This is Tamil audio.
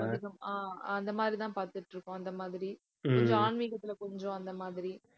ஹம் ஆஹ் அந்த மாதிரிதான் பார்த்துட்டு இருக்கோம் அந்த மாதிரி. கொஞ்சம் ஆன்மீகத்துல கொஞ்சம் அந்த மாதிரி